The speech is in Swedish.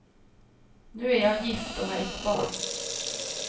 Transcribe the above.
Nu är jag gift och har ett barn.